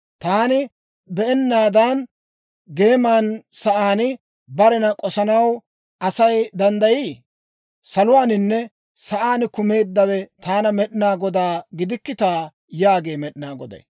Taani be'ennaadan, geema sa'aan barena k'osanaw Asay danddayii? Saluwaaninne sa'aan kumeeddawe taana Med'inaa Godaa gidikkitaa?» yaagee Med'inaa Goday.